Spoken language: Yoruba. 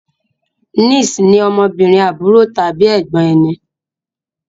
Niece ní ọmọbìnrin àbúrò tàbí ègbón ẹní.